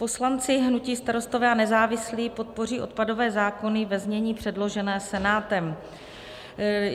Poslanci hnutí Starostové a nezávislí podpoří odpadové zákony ve znění předloženém Senátem.